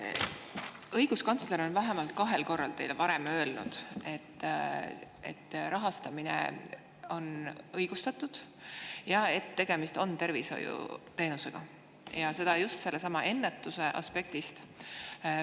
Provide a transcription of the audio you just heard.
Õiguskantsler on teile varem vähemalt kahel korral öelnud, et rahastamine on õigustatud ja et tegemist on tervishoiuteenusega, just sellestsamast ennetuse aspektist lähtudes.